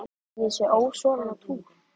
Sérðu ekki að ég er ósofin á túr.